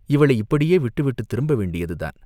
இவளை இப்படியே விட்டு விட்டுத் திரும்ப வேண்டியதுதான்?